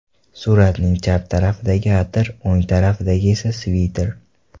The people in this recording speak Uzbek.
Suratning chap tarafidagi atir, o‘ng tarafidagi esa sviter”.